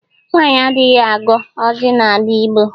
Nwaanyị adịghị ago ọjị n'ala Igbo.